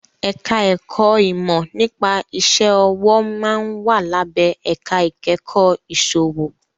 Ẹ̀ka ẹ̀kọ́ ìmọ̀ nípa iṣẹ́ ọwọ́ máa ń wà lábẹ́ ẹ̀ka ìkẹ́kọ̀ọ́ ìsòwò